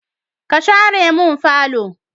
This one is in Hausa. Ka share mun falo!